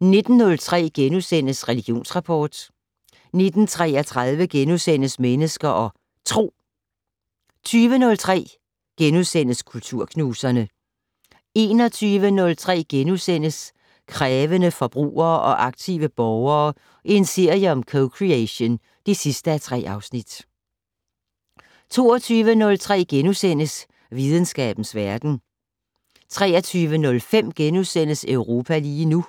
19:03: Religionsrapport * 19:33: Mennesker og Tro * 20:03: Kulturknuserne * 21:03: Krævende forbrugere og aktive borgere - en serie om co-creation (3:3)* 22:03: Videnskabens Verden * 23:05: Europa lige nu *